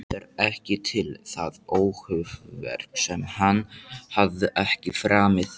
Það var ekki til það óhæfuverk sem hann hafði ekki framið